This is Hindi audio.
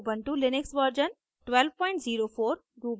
Ubuntu Linux version 1204